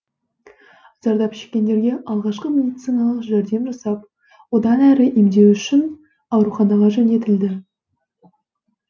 зардап шеккендерге алғашқы медициналық жәрдем жасап одан әрі емдеу үшін ауруханаға жөнелтілді